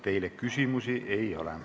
Teile küsimusi ei ole.